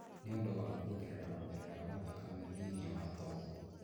nĩ ũndũ wa kuongerera gũtherera gwa thakame thĩinĩ wa tombo.